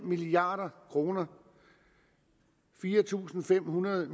milliard kroner fire tusind fem hundrede